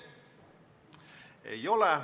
Ei ole.